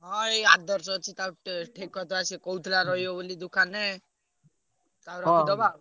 ହଁ ଏଇ ଆଦର୍ଶ ସେ ଅଛି ତା ଟେ ଠିକ କରିଦବା ସେ କହୁଥିଲା ରହିବ ବୋଲି ଦୋକାନେ ତାକୁ ରଖିଦବା।